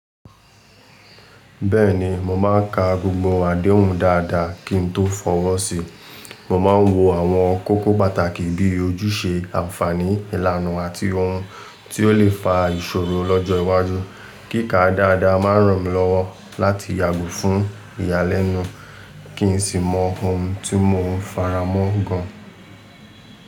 Bẹ́ẹ̀ni, mò máa n ka gbogbo àdéhùn dáadáa kí n tó fọwọ́ sí. Mò máa ń wo àwọn kókó pàtàkì bíi ojúṣe ànfàní, ìlànà àti ohun tí ó lè fa ìṣòro lọ́jọ́ iwájú. Kíka dáadáa máa ràn mí lọ́wọ́ láti yàgò fún ìyàlẹ́nu kí n sì mọ ohun tí mò ń faramọ́ gan.